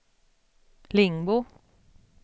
Lingbo